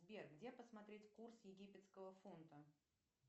сбер где посмотреть курс египетского фунта